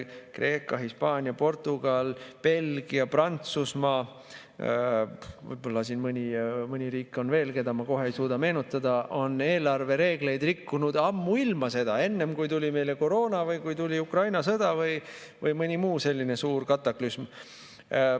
Kreeka, Hispaania, Portugal, Belgia, Prantsusmaa, võib-olla mõni riik on veel, keda ma kohe ei suuda meenutada, on eelarvereegleid rikkunud ammuilma enne seda, kui tuli meile koroona või kui tuli Ukraina sõda või mõni muu selline suur kataklüsm.